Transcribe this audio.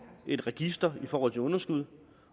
et register i forhold til underskud